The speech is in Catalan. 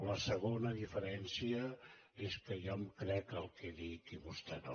la segona diferència és que jo em crec el que dic i vostè no